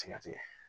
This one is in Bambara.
Sigati